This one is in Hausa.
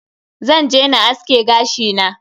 Zan je na aske gashi na.